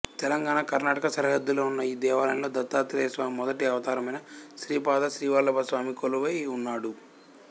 తెలంగాణ కర్ణాటక సరిహద్దుల్లో ఉన్న ఈ దేవాలయంలో దత్తాత్రేయ స్వామి మొదటి అవతారమైన శ్రీపాద శ్రీవల్లభ స్వామి కొలువై ఉన్నాడు